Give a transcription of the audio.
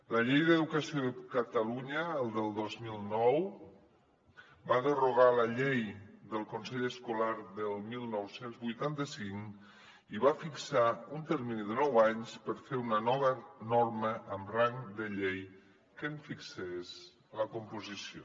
la llei d’educació de catalunya del dos mil nou va derogar la llei del consell escolar del dinou vuitanta cinc i va fixar un termini de nou anys per fer una nova norma amb rang de llei que en fixés la composició